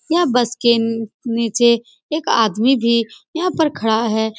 यह बस के उँउँ नीचे एक आदमी भी यहाँ पर खड़ा है।